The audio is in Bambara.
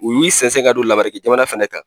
U y'u sɛnsɛn ka don lameriki jamana fɛnɛ kan